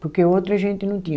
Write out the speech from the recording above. Porque outro a gente não tinha.